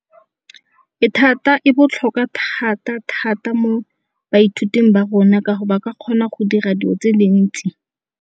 E thata e botlhokwa thata-thata mo baithuting ba rona ka gore ba ka kgona go dira dilo tse dintsi.